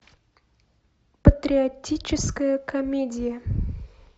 патриотическая комедия